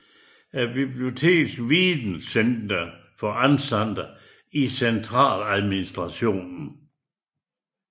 Biblioteks videnscenter for ansatte i centraladministrationen